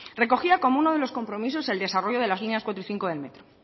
recogía como uno de los compromisos el desarrollo de las líneas cuatro y cinco del metro